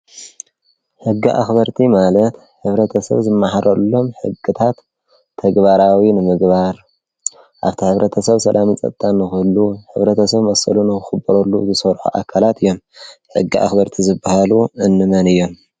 ሕጊ ኣኽበርቲ ማለት ሕብረተ ሰብ ዝመሃረሎም ሕግታት ተግባራዊ ንምግባር ኣብቲ ሕብረተ ሰብ ሰላምን ፀጥታን ንዂህሉ ሕብረተ ሰብ መሰሉ ንኽኽበረሉ ዝሰርሑ ኣካላት እዮም፡፡ ሕጊ ኣኽበርቲ ዝብሃሉ እንመን እዮም?